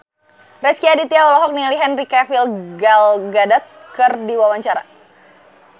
Rezky Aditya olohok ningali Henry Cavill Gal Gadot keur diwawancara